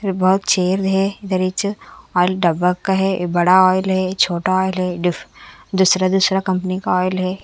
बहुत छेल हैं दरिच ऑइल डब्बा का हैं बड़ा आयल हैं छोटा आयल हैं डिफ दूसरा दूसरा कंपनी का आयल हैं।